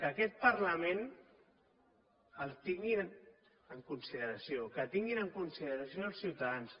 que aquest parlament el tinguin en consideració que tinguin en consideració els ciutadans